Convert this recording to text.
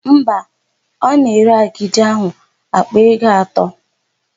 Mba, ọ na-ere agidi áhụ̀ àkpà ego atọ.